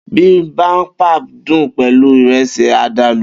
Bibimbap dùn pẹlú Ìrẹ́sì àdàlù